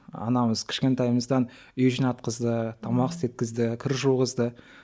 анамыз кішкентайымыздан үй жинатқызды тамақ істеткізді кір жуғызды